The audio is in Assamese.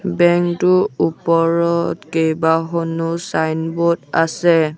বেংকটোৰ ওপৰত কেইবাখনো ছাইনব'ৰ্ড আছে।